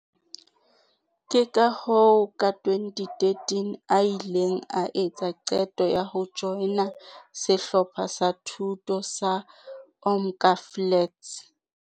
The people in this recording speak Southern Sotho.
Ke ka hoo ka 2013 a ileng a etsa qeto ya ho joina Sehlopha sa Boithuto sa Umnga Flats.